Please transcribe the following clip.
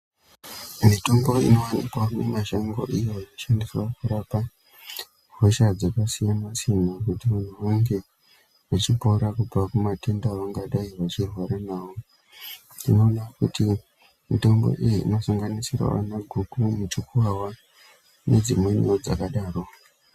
Mitombo inowanikwawo mumashango iyo inoshandiswa kurapa hosha dzakasiyana siyana kuti munhu unge uchipora kubva kumatenda aungadai uchirwara nawo. Tinoona kuti mitombo iyi inosanganisirawo vana guku mujupuwawa nedzimweniwo dzakadaro.